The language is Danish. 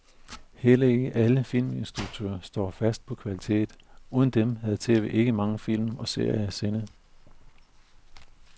Heller ikke alle filminstruktører står fast på kvalitet, uden dem havde tv ikke mange film og serier at sende.